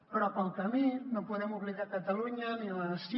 però pel camí no podem oblidar catalunya ni la nació